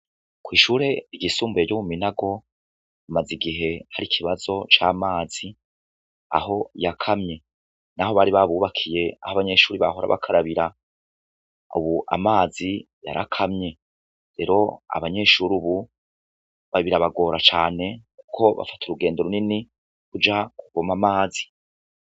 Kw'ishuri ryisumbuye ryo muminago hamaze igihe har'ikibazo c'amazi aho yakamye naho bari babukiye aho abanyeshure bahora bakarabira ubu amazi yarakamye. Rero abanyeshure ubu birabagora cane kuko bafata urugendo runini kuja kuvoma amazi.